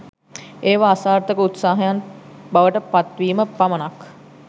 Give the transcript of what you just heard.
ඒවා අසාර්ථක උත්සාහයන් බවට පත්වීම පමණක්